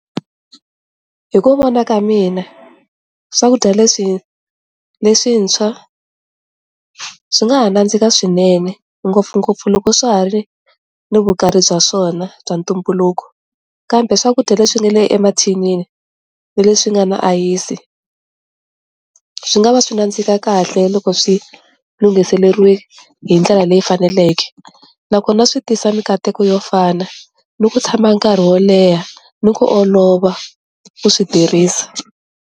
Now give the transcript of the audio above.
Hi ku vona ka mina swakudya leswi leswintshwa swi nga ha nandzika swinene ngopfungopfu loko swa ha ri ni vukarhi bya swona bya ntumbuluko kambe swakudya leswi nga le emathinini na leswi nga na ayisi swi nga va swi nandzika kahle loko swi lunghiseriwe hi ndlela leyi faneleke nakona swi tisa mikateko yo fana ni ku tshama nkarhi wo leha ni ku olova ku swi tirhisa.